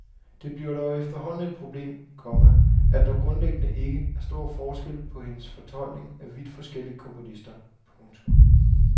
Det bliver dog efterhånden et problem, komma at der grundlæggende ikke er stor forskel på hendes fortolkning af vidt forskellige komponister. punktum